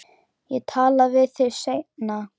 Ég tala við þig seinna.